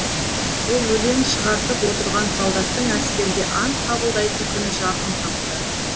ол өлең шығартып отырған солдаттың әскерде ант қабылдайтын күні жақын қапты